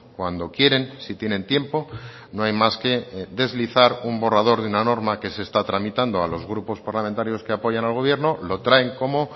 cuando quieren sí tienen tiempo no hay más que deslizar un borrador de una norma que se está tramitando a los grupos parlamentarios que apoyan al gobierno lo traen como